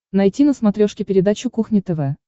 найти на смотрешке передачу кухня тв